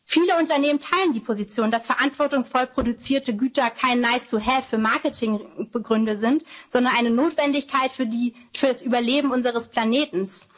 gerecht wird. Viele Unternehmen teilen die Position, dass verantwortungsvoll produzierte Güter kein nice-to-have für Marketinggründe sind, sondern eine Notwendigkeit für das Überleben unseres